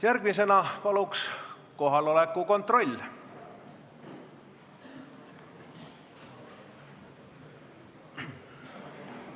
Järgmisena, palun, kohaloleku kontroll!